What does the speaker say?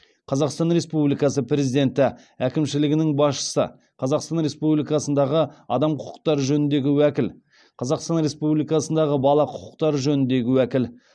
қазақстан республикасы президенті әкімшілігінің басшысы қазақстан республикасындағы адам құқықтары жөніндегі уәкіл қазақстан республикасындағы бала құқықтары жөніндегі уәкіл